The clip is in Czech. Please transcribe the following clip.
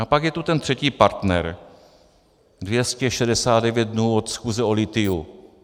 A pak je tu ten třetí partner - 269 dnů od schůze o lithiu.